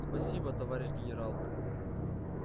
спасибо товарищ генерал